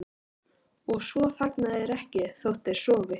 Og svo þagna þeir ekki þótt þeir sofi.